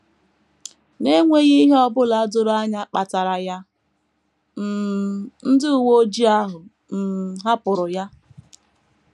N’enweghị ihe ọ bụla doro anya kpatara ya, um ndị uwe ojii ahụ um hapụrụ ya.